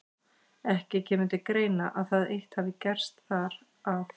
Ekki kemur til greina, að það eitt hafi gerst þar, að